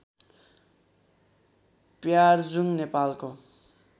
प्यार्जुङ नेपालको